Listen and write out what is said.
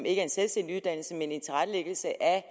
en selvstændig uddannelse men en tilrettelæggelse af